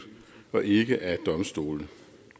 og ikke af domstole